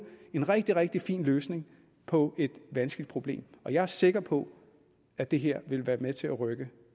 en rigtig rigtig fin løsning på et vanskeligt problem jeg er sikker på at det her vil være med til at rykke